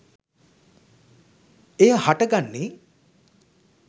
එය හට ගන්නේ